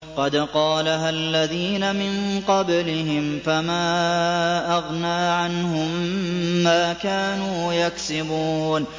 قَدْ قَالَهَا الَّذِينَ مِن قَبْلِهِمْ فَمَا أَغْنَىٰ عَنْهُم مَّا كَانُوا يَكْسِبُونَ